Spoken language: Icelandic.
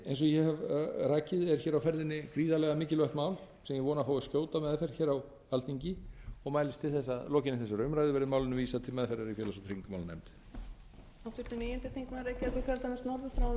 eins og ég hef rakið er hér á ferðinni gríðarlega mikilvægt mál sem ég vona að fái skjóta meðferð hér á alþingi og mælist til þess að að að lokinni þessari umræðu verði málinu vísað til meðferðar í félags og tryggingamálanefnd